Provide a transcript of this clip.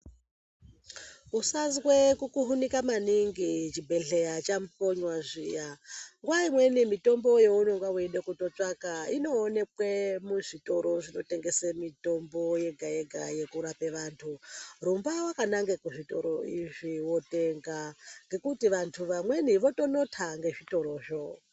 Usazwe kukuhunika maningi chibhedhleya chakonywa zviya ,nguwa imweni mitombo younenge weida kundotsvaka inoonekwe muzvitoro zvinotengese mitombo yega yega yekurape vantu. Rumba wakanange kuzvitoro izvi wotenga ngekuti vantu vamweni votonotha ngezvitorozvo